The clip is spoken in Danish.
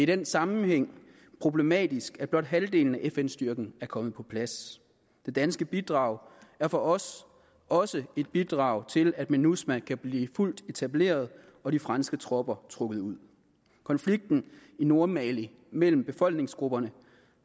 den sammenhæng problematisk at blot halvdelen af fn styrken er kommet på plads det danske bidrag er for os også et bidrag til at minusma kan blive fuldt etableret og de franske tropper trukket ud konflikten i nordmali mellem befolkningsgrupperne